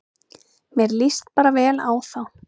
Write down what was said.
Mér líst bara vel á þá